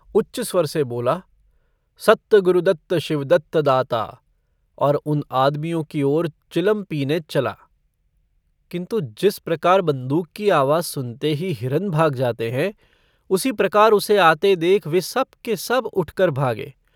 उच्च स्वर से बोला - सत्त गुरुदत्त शिवदत्त दाता, और उन आदमियों की ओर चिलम पीने चला। किन्तु जिस प्रकार बन्दूक की आवाज सुनते ही हिरन भाग जाते हैं उसी प्रकार उसे आते देख वे सब के सब उठकर भागे।